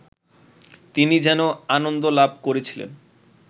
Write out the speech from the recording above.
তিনি যে আনন্দ লাভ করেছিলেন